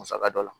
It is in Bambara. Musaka dɔ la